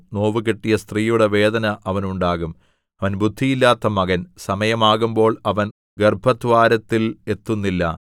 നോവുകിട്ടിയ സ്ത്രീയുടെ വേദന അവന് ഉണ്ടാകും അവൻ ബുദ്ധിയില്ലാത്ത മകൻ സമയമാകുമ്പോൾ അവൻ ഗർഭദ്വാരത്തിൽ എത്തുന്നില്ല